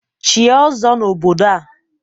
Chie ọzọ n'obodo a!